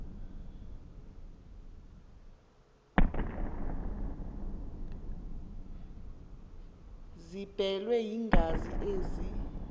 ziblelwe yingazi ezi